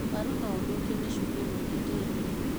Waru no ũthũkio nĩ cumbĩ mũingĩ tĩĩri-inĩ.